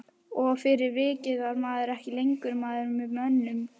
Og fyrir vikið var maður ekki lengur maður með mönnum.